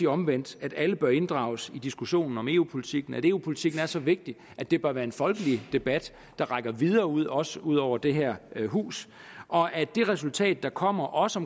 omvendt at alle bør inddrages i diskussionen om eu politikken at eu politikken er så vigtig at det bør være en folkelig debat der rækker videre ud også ud over det her hus og at det resultat der kommer også